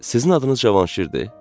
Sizin adınız Cavanşirdir?